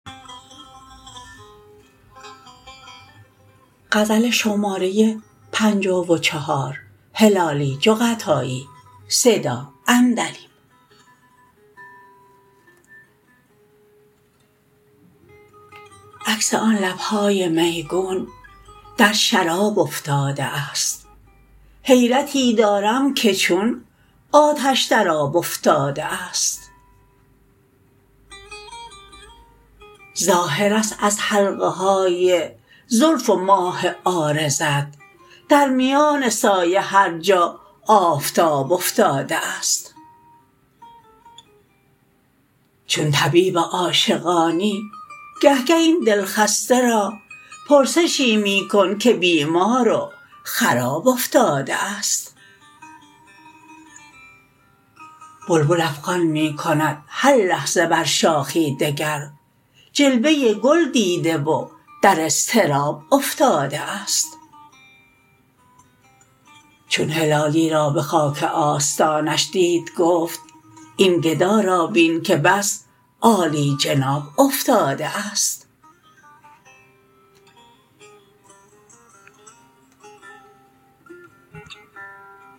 عکس آن لبهای میگون در شراب افتاده است حیرتی دارم که چون آتش در آب افتاده است ظاهرست از حلقهای زلف و ماه عارضت در میان سایه هر جا آفتاب افتاده است چون طبیب عاشقانی گه گه این دل خسته را پرسشی میکن که بیمار و خراب افتاده است بلبل افغان میکند هر لحظه بر شاخی دگر جلوه گل دیده و در اضطراب افتاده است چون هلالی را بخاک آستانش دید گفت این گدا را بین که بس عالی جناب افتاده است